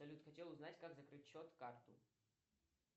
салют хотел узнать как закрыть счет карту